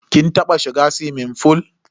Kin taba shiga suwimin fool?